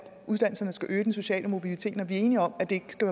uddannelserne skal øge den sociale mobilitet når vi er enige om at det skal